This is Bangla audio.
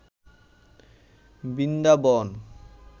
বৃন্দাবন